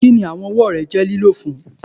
Kini awọn ọwọ rẹ lo fun?